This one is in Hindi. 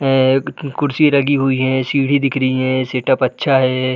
है एक कुर्सी लगी हुई है सीढ़ी दिख रही है। सेटअप अच्छा है।